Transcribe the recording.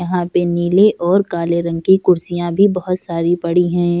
यहाँ पे नीले और काले रंग की कुर्सियां भी बहुत सारी पड़ी है।